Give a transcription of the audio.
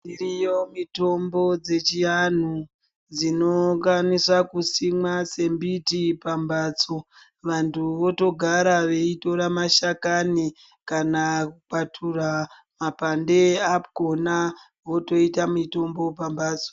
Iriyo mitombo dzechiantu dzinokwanisa kusimwa sembiti pambatso vantu votogara veitora mashakani kana kukwatura mapande akhona votoita mitombo pambatso.